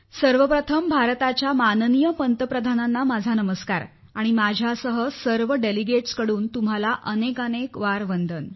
सर्वप्रथम भारताच्या माननीय पंतप्रधांनांना माझा नमस्कार आणि माझ्यासह सर्व प्रतिनिधींकडून तुम्हाला वंदन